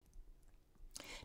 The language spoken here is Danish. DR2